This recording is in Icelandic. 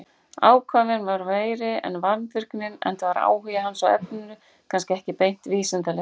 Ákafinn var meiri en vandvirknin enda var áhugi hans á efninu kannski ekki beint vísindalegur.